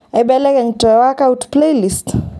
aibelekeny te workout playlist